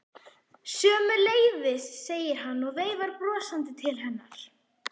Sömuleiðis, segir hann og veifar brosandi til hennar.